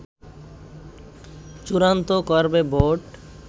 চূড়ান্ত করবে বোর্ড